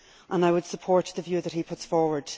I would support the view that he puts forward.